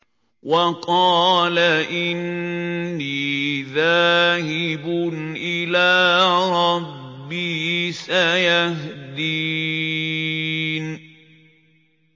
وَقَالَ إِنِّي ذَاهِبٌ إِلَىٰ رَبِّي سَيَهْدِينِ